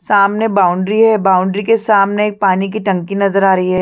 सामने बाउंड्री है बाउंड्री के सामने एक पानी की टंकी नजर आ रही है।